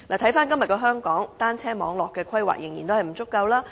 回看今天的香港，單車網絡規劃仍然不足夠。